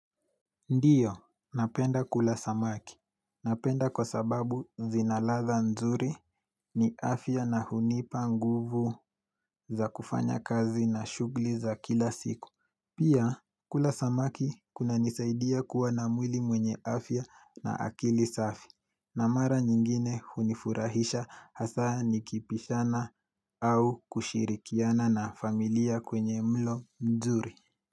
Ndiyo, napenda kula samaki. Napenda kwa sababu zina ladha nzuri ni afya na hunipa nguvu za kufanya kazi na shughuli za kila siku. Pia, kula samaki kunanisaidia kuwa na mwili mwenye afya na akili safi. Na mara nyingine hunifurahisha hasa nikipishana au kushirikiana na familia kwenye mlo nzuri.